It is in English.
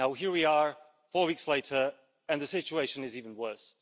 Now here we are, four weeks later, and the situation is even worse.